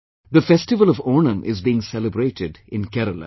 The festival of Onam is being celebrated in Kerela